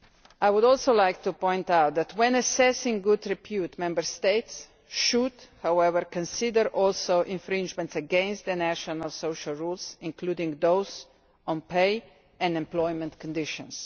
I would also like to point out that, when assessing good repute, Member States should, however, also consider infringements against the national social rules, including those on pay and employment conditions.